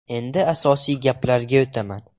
Endi asosiy gaplarga o‘taman.